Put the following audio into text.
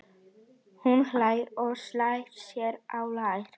Hún hlær og slær sér á lær.